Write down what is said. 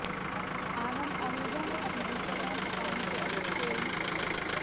ਆਨੰਦ ਆਹੂਜਾ ਨੇ ਆਪਣੇ Instagram account ਤੋਂ ੱਿਕ ਸਟੋਰੀ